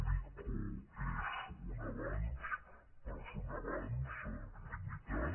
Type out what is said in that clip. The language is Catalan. l’ico és un avenç però és un avenç limitat